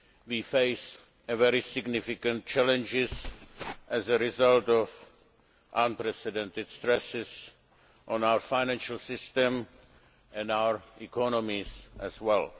We face very significant challenges as a result of unprecedented stresses on our financial systems and our economies as well.